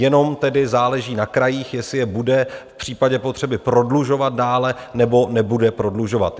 Jenom tedy záleží na krajích, jestli je bude v případě potřeby prodlužovat dále, nebo nebude prodlužovat.